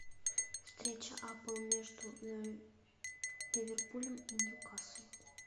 встреча апл между ливерпулем и ньюкаслом